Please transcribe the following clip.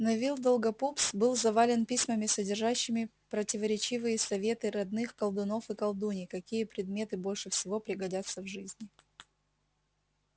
невилл долгопупс был завален письмами содержащими противоречивые советы родных колдунов и колдуний какие предметы больше всего пригодятся в жизни